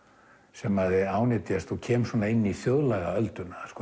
sem ánetjast og kem inn í þjóðlagaölduna